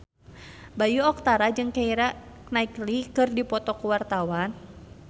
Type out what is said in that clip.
Bayu Octara jeung Keira Knightley keur dipoto ku wartawan